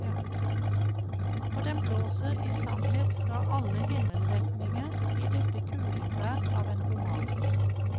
Og den blåser i sanhet fra alle himmelretninger i dette kulingvær av en roman.